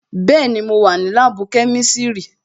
Bẹẹni, mo wà ní láàbù kẹ́mísírì"